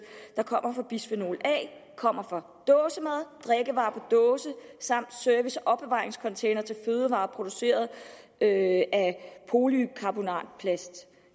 der kommer fra bisfenol a kommer fra dåsemad drikkevarer dåse samt service og opbevaringscontainere til fødevarer produceret af polycarbonatplast